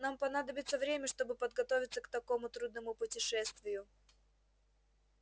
нам понадобится время чтобы подготовиться к такому трудному путешествию